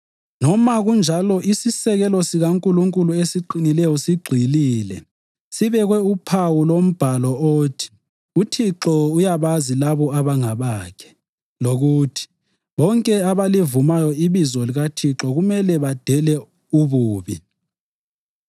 Noma kunjalo isisekelo sikaNkulunkulu esiqinileyo sigxilile, sibekwe uphawu lombhalo othi: “UThixo uyabazi labo abangabakhe,” + 2.19 AmaNani 16.5 lokuthi, “Bonke abalivumayo ibizo likaThixo kumele badele ububi.”